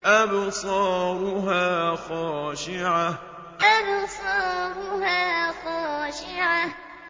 أَبْصَارُهَا خَاشِعَةٌ أَبْصَارُهَا خَاشِعَةٌ